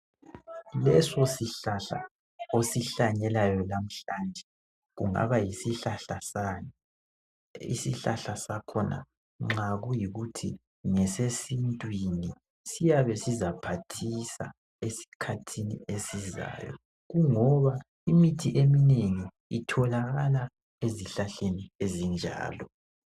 Leso sihlahla osihlanyelayo namhlanje . Kungaba yisihlahla sani ?Isihlahla sakhona nxa kuyikuthi ngesesintwini siyabe sizaphathisa esikhathini esizayo kungoba imithi emnengi itholakala ezihlahleni ezinjalo